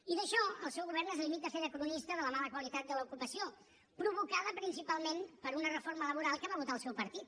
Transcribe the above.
i en això el seu govern es limita a fer de cronista de la mala qualitat de l’ocupació provocada principalment per una reforma laboral que va votar el seu partit